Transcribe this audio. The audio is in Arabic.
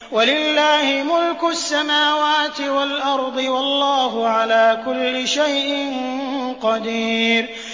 وَلِلَّهِ مُلْكُ السَّمَاوَاتِ وَالْأَرْضِ ۗ وَاللَّهُ عَلَىٰ كُلِّ شَيْءٍ قَدِيرٌ